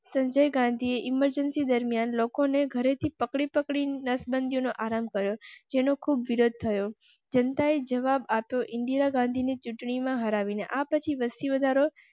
Sanjay Gandhi emergency દરમિયાન લોકોને ઘરે થી પકડી પકડી નસબંધી નો આરંભ કર્યો જેનો ખૂબ વિરોધ થયો જનતાએ જવાબ આપ્યો ઇન્દિરા ગાંધી ને ચૂંટણી માં હરાવી ને આ પછી વસ્તી વધારો